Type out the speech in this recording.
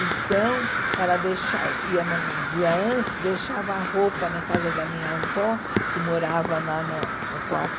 Então, ela deixa ia num dia antes, deixava a roupa na casa da minha avó, que morava na na no